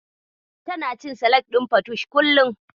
Tana cin salak ɗin fatush kullum.